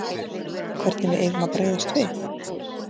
Hvernig við eigum að bregðast við?